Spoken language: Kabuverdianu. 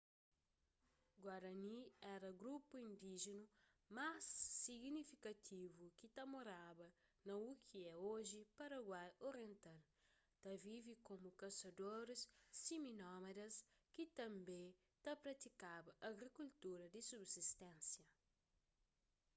guarani éra grupu indíjinu más signifikativu ki ta moraba na u ki é oji paraguai oriental ta vive komu kasadoris simi-nómadas ki tanbê ta pratikaba agrikultura di subsisténsia